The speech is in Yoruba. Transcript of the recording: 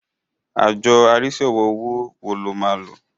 Àjọ arísí ọ̀rọ̀ owó wo lo máa lo?